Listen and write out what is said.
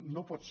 no pot ser